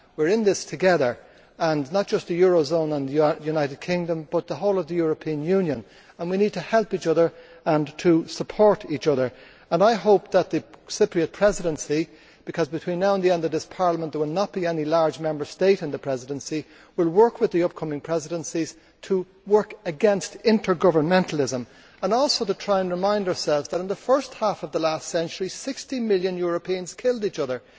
We are in this together, not just the eurozone and the United Kingdom but the whole of the European Union, and we need to help each other and to support each other and I hope that the Cyprus Presidency because between now and the end of this Parliament there will not be any large Member State in the Presidency will work with the upcoming presidencies to work against intergovermentalism and also to try and remind ourselves that in the first half of the last century 60 million Europeans killed each other.